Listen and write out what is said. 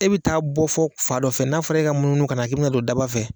E bɛ taa bɔ fɔ fa dɔ fɛ n'a fɔra i ka munumunu kana k'i bɛ na don daba fɛ.